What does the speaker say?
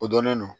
O dɔnnen don